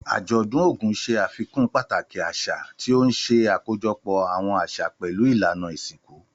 Àjọ̀dún Ogun ṣe àfikún pàtàkì àṣà, tí ó ń ṣe àkójọpọ̀ àwọn àṣà pẹ̀lú ìlànà ìsìnkú.